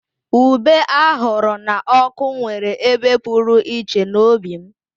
Ube ahuru na oku nwere ebe pụrụ iche n'obi m